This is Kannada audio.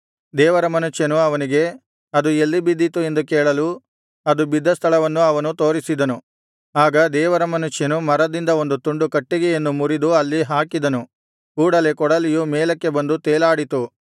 ದೇವರ ಮನುಷ್ಯನು ಅವನಿಗೆ ಅದು ಎಲ್ಲಿ ಬಿದ್ದಿತು ಎಂದು ಕೇಳಲು ಅದು ಬಿದ್ದ ಸ್ಥಳವನ್ನು ಅವನು ತೋರಿಸಿದನು ಆಗ ದೇವರ ಮನುಷ್ಯನು ಮರದಿಂದ ಒಂದು ತುಂಡು ಕಟ್ಟಿಗೆಯನ್ನು ಮುರಿದು ಅಲ್ಲಿ ಹಾಕಿದನು ಕೂಡಲೆ ಕೊಡಲಿಯು ಮೇಲಕ್ಕೆ ಬಂದು ತೇಲಾಡಿತು